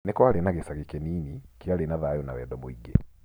Nĩ kwarĩ na gĩcagi kĩnini, kĩarĩ na thayũ na wendo mũingĩ.